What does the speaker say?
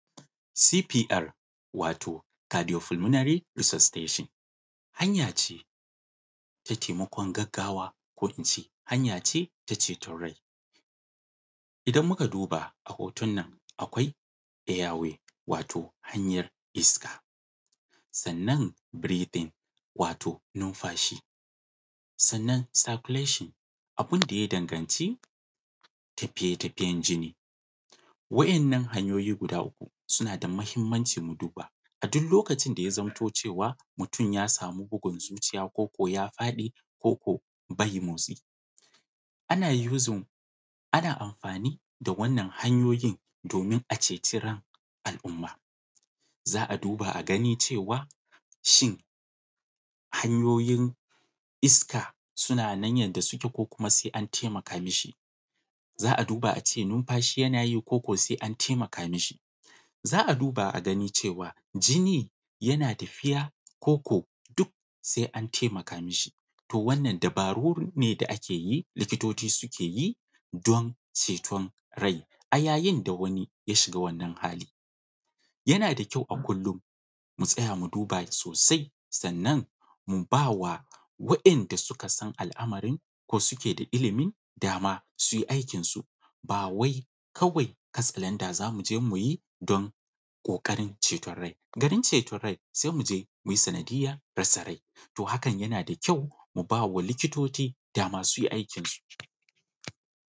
C.P.R. Wato (Cardiopulmonary Resuscitation), hanya ce ta taimakon gaggawa, ko in ce, hanya ce ta ceton rai. Idan muka duba, a hoton nan, akwai airway wato hanyar iska. Sannan breathing, wato numfashi; sannan circulation, abin da ya danganci tafiye-tafiyen jini. Wa`yannan hanyoyi guda uku suna da muhimmanci mu duba. A duk lokacin da ya zamanto cewa mutum ya samu bugun zuciya ko ko ya faɗi, ko ko bai motsi, ana using, ana amfani da wannan hanyoyin domin a ceci ran al’umma. Za a duba a gani cewa shin, hanyoyin iska suna nan yadda suke ko kuma sai an taimaka mishi? Za a duba a ce numfashi yana yi ko ko sai an taimaka mishi? Za a duba a gani cewa jini yana tafiya, ko ko duk sai an taimaka mishi? To wannan dabaru ne da ake yi, likitoci suke yi, don ceton rai a yayin da wani ya shiga wannan hali. Yana da kyau a kullun mu tsaya mu duba sosai, sannan mu ba wa wa`yanda suka san al’amarin ko suke da ilimin, dama su yi aikinsu. Ba wai kawai katsalanda za mu je mu yi don ƙoƙarin ceton rai ba. Garin ceton rai sai mu je mu yi sanadiyyar rasa rai. To hakan yana da kyau mu ba wa likitoci dama su yi aikinsu.